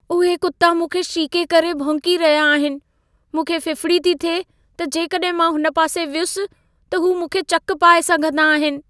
उहे कुता मूंखे शीके करे भौंकी रहिया आहिनि। मूंखे फ़िफ़िड़ी थी थिए त जेकॾहिं मां हुन पासे वियुसि त हू मूंखे चक पाए सघंदा आहिनि।